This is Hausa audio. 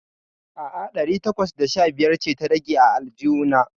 A'a, ɗari takwas da sha biyar ce ta rage a aljihu na.